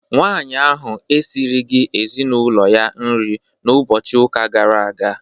Nwaanyị ahụ esirighi ezinaụlọ ya nri n'ụbọchị ụka gara aga.